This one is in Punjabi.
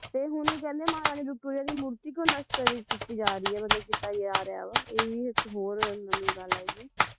ਫੇਰ ਮੈਨੂੰ ਕਹਿੰਦੇ ਮਹਾਰਾਣੀ ਵਿਕਟੋਰੀਆ ਦੀ ਮੂਰਤੀ ਕਿਉਂ ਨਸ਼ਟ ਕੀਤੀ ਜਾ ਰਹੀ ਹੈ ਮਤਲਬ ਕੀਤਾ ਜਾ ਰਿਹਾ ਵਾ ਇਹ ਵੀ ਮਤਲਬ ਇਕ ਹੋਰ ਨਵੀਂ ਗੱਲ ਆਈ ਹੈ